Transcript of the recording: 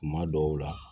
Kuma dɔw la